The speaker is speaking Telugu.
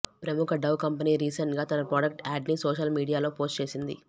ప్రముఖ డవ్ కంపెనీ రీసెంట్ గా తన ప్రాడక్ట్ యాడ్ ని సోషల్ మీడియాలో పోస్ట్ చేసింది